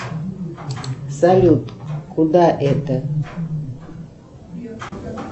салют куда это